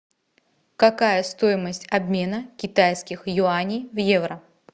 какая стоимость обмена китайских юаней в евро